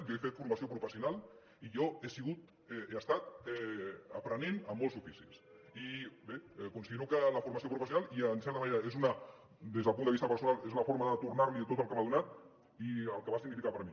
jo he fet formació professional i jo he sigut he estat aprenent en molts oficis i bé considero que la formació professional i en certa manera és des del punt de vista personal és una forma de tornar li tot el que m’ha donat i el que va significar per a mi